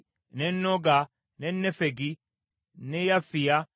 ne Noga, ne Nefegi, ne Yafiya,